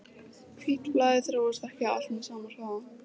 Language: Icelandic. Hvítblæði þróast ekki allt með sama hraða.